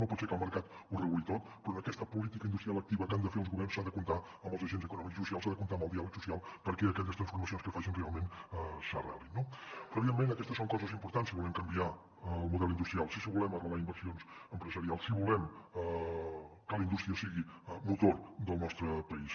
no pot ser que el mercat ho reguli tot però en aquesta política industrial activa que han de fer els governs s’ha de comptar amb els agents econòmics i socials s’ha de comptar amb el diàleg social perquè aquelles transformacions que es facin realment s’arrelin no evidentment aquestes són coses importants si volem canviar el model industrial si volem arrelar inversions empresarials si volem que la indústria sigui motor del nostre país